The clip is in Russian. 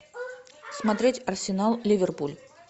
смотреть арсенал ливерпуль